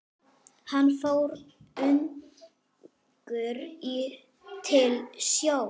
Hann fór ungur til sjós.